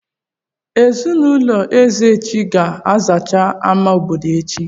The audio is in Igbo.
Ezinụlọ Ezeji ga-azacha àmà obodo echi?